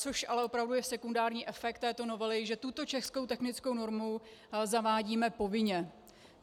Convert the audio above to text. Což ale opravdu je sekundární efekt této novely, že tuto českou technickou normu zavádíme povinně.